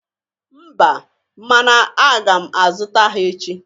Mba mana aga m azụta ha echi